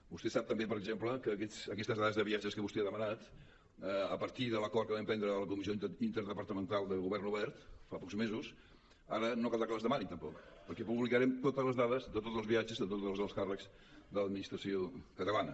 vostè sap també per exemple que aquestes dades de viatges que vostè ha demanat a partir de l’acord que vam prendre a la comissió interdepartamental de govern obert fa pocs mesos ara no caldrà que les demani tampoc perquè publicarem totes les dades de tots els viatges de tots els alts càrrecs de l’administració catalana